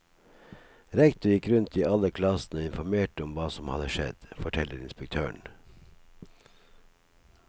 Rektor gikk rundt i alle klassene og informerte om hva som hadde skjedd, forteller inspektøren.